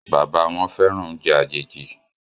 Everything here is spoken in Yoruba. bàbá wón féràn oúnjẹ àjèjì